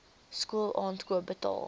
skool aankoop betaal